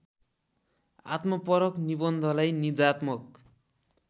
आत्मपरक निबन्धलाई निजात्मक